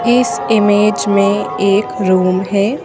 इस इमेज में एक रूम है।